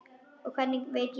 Hvernig veit ég það?